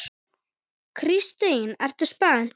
Kristín: Ertu spennt?